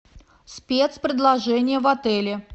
спецпредложения в отеле